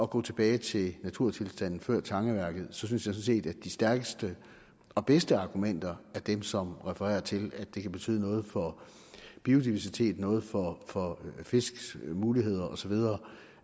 gå tilbage til naturtilstanden før tangeværket synes jeg sådan set at de stærkeste og bedste argumenter er dem som refererer til at det kan betyde noget for biodiversiteten noget for fisks muligheder og så videre